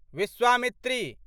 Vishwamitri